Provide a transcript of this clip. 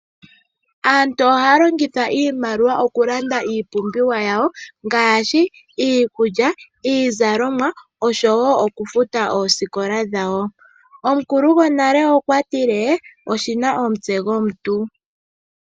Aantu ohaya longitha iimaliwa oku landa iipimbiwa ya wo ngaashi: iikulya, iizalomwa, osho wo oku futa oosikola dhawo. Omukulu go nale okwa tile:'oshina omutse go muntu'.